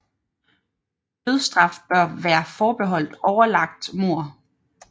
Dødsstraf bør være forbeholdt overlagt mord